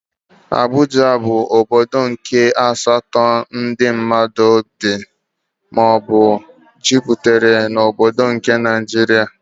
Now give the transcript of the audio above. Abuja bụ ọbọdọ nke asatọ ndị mmadụ bị maọbu juputere n'obodo nke Naijiria.